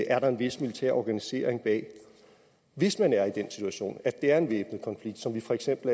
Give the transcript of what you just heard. er der en vis militær organisering bag hvis man er i den situation at det er en væbnet konflikt som for eksempel